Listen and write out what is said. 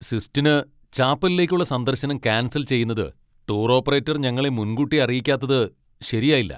Sistine ചാപ്പലിലേക്കുള്ള സന്ദർശനം cancel ചെയ്യുന്നത് ടൂർ ഓപ്പറേറ്റർ ഞങ്ങളെ മുൻകൂട്ടി അറിയിക്കാത്തത് ശരിയായില്ല.